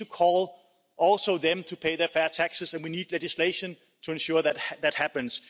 We need to also call on them to pay fair taxes and we need legislation to ensure that that happens.